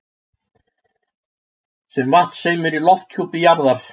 sem vatnseimur í lofthjúpi jarðar.